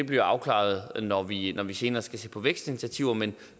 bliver afklaret når vi når vi senere skal se på vækstinitiativer men